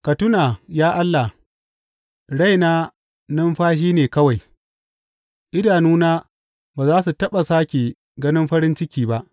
Ka tuna, ya Allah, raina numfashi ne kawai; idanuna ba za su taɓa sāke ganin farin ciki ba.